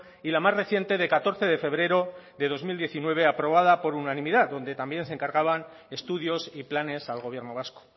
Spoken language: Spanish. y la más reciente de catorce de febrero de dos mil diecinueve aprobada por unanimidad donde también se encargaba estudios y planes al gobierno vasco